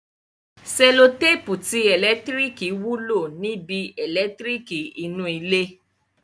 Sẹlotéèpù ti ẹ̀lẹ́tíríkì wúlò níbi? ẹ̀lẹ́tíríkì inú ilé